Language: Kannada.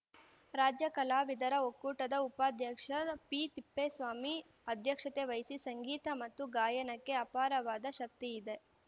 ರಾಜ್ಯ ಕಲಾವಿದರ ಒಕ್ಕೂಟದ ಉಪಾಧ್ಯಕ್ಷ ಪಿತಿಪ್ಪೇಸ್ವಾಮಿ ಅಧ್ಯಕ್ಷತೆ ವಹಿಸಿ ಸಂಗೀತ ಮತ್ತು ಗಾಯನಕ್ಕೆ ಅಪಾರವಾದ ಶಕ್ತಿ ಇದೆ